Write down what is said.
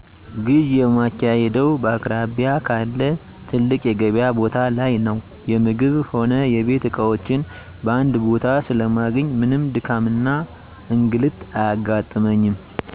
ግዢ የማካሂደው በአቅራቢያ ካለ ትልቅ የገቢያ ቦታ ላይ ነው። የምግብ ሆነ የቤት እቃዎችን በአንድ ቦታ ስለማገኝ ምንም ድካምና እንግልት አያጋጥመኝ።